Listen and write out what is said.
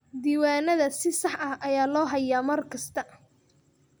Diiwaanada si sax ah ayaa loo hayaa mar kasta.